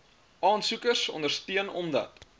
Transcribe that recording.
aansoekers ondersteun omdat